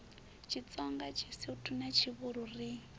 tshitsonga tshisuthu na tshivhuru ri